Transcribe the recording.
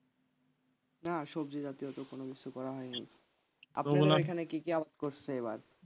না সবজি জাতীয় তো কোনো কিছু করা হয়নি এখানে কি কি করছো আবার?